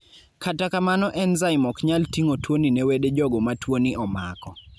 kata kamano enzaim oknyal ting'o tuoni ne wede jogo ma tuo ni omako